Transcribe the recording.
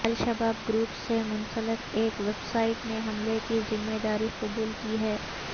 الشباب group سے منسلک ایک ویب سائٹ نے حملے کی ذمے داری قبول کی ہے